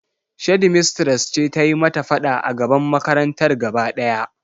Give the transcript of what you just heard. Shedmistres ce ta yi mata fada a gaban makarantar gaba daya.